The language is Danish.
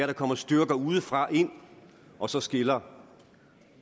der kommer styrker udefra ind og så skiller